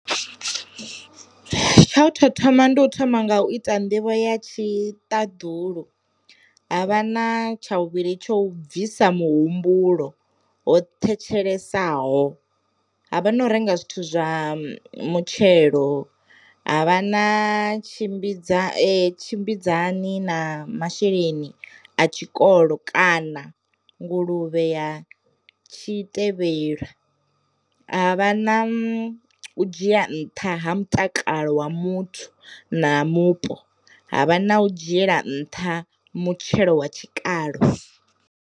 Tsha u to thoma ndi u thoma nga u ita nḓivho ya tshi ṱaḓulu, havha na tsha vhuvhili tsho bvisa muhumbulo ho thetshelesa, havha na u renga zwithu zwa mutshelo, ha vha na tshimbidza tshimbidzani na masheleni a tshikolo kana nguluvhe ya tshi tevhela, ha vha na dzhia nṱha ha mutakalo wa muthu na mupo, ha vha na u dzhiela nṱha mutshelo wa tshikalo.